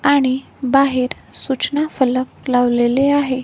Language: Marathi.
आणि बाहेर सूचना फलक लावलेले आहे.